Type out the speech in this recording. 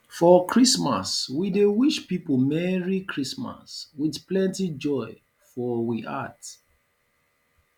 for christmas we dey wish pipo merry christmas with plenty joy for we heart